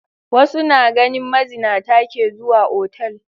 Wasu na ganin mazinata ke zuwa otal.